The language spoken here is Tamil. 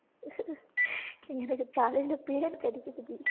எனக்கு தலையில பேன் கடிக்குதுடி